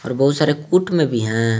और बहुत सारे कूट में भी हैं।